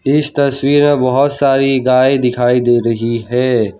इस तस्वीर में बहुत सारी गाय दिखाई दे रही है।